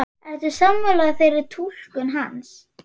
Ertu sammála þeirri túlkun hans?